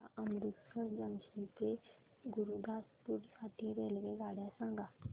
मला अमृतसर जंक्शन ते गुरुदासपुर साठी रेल्वेगाड्या सांगा